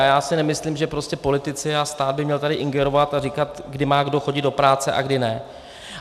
A já si nemyslím, že prostě politici a stát by měli tady ingerovat a říkat, kdo má kdy chodit do práce a kdy ne.